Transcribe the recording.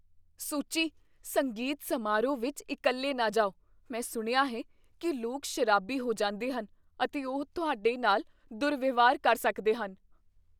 ਸੁੱਚੀ। ਸੰਗੀਤ ਸਮਾਰੋਹ ਵਿਚ ਇਕੱਲੇ ਨਾ ਜਾਓ। ਮੈਂ ਸੁਣਿਆ ਹੈ ਕੀ ਲੋਕ ਸ਼ਰਾਬੀ ਹੋ ਜਾਂਦੇ ਹਨ ਅਤੇ ਉਹ ਤੁਹਾਡੇ ਨਾਲ ਦੁਰਵਿਵਹਾਰ ਕਰ ਸਕਦੇ ਹਨ।